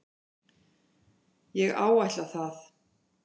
Ég áætla það.